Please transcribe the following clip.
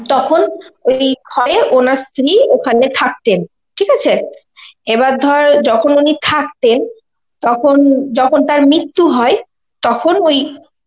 তখন ওই ঘরে ওনার স্ত্রী ওখানে থাকতেন, ঠিক আছে? এবার ধর যখন উনি থাকতেন তখন যখন তার মৃত্যু হয়, তখন ওই